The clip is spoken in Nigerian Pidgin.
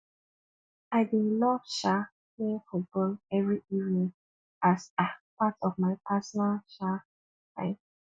i dey love um playing football every evening as um part of my personal um time